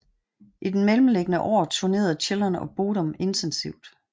I den mellemværende år turnerede Children of Bodom intensivt